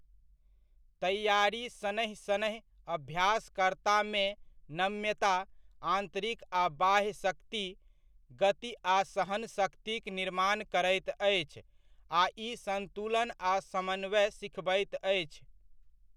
तैआरी शनैः शनैः अभ्यासकर्तामे नम्यता, आन्तरिक आ बाह्य शक्ति, गति आ सहनशक्तिक निर्माण करैत अछि आ ई सन्तुलन आ समन्वय सिखबैत अछि।